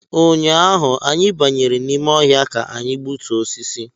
Ụnyaahụ, anyị banyere n’ime ọhịa ka anyị gbutuo osisi